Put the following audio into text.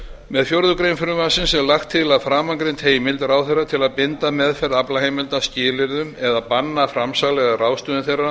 með fjórðu grein frumvarpsins er lagt til að framangreind heimild ráðherra til að binda meðferð aflaheimilda skilyrðum eða banna framsal eða ráðstöfun þeirra